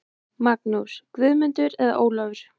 Magnús, Guðmundur eða Ólafur.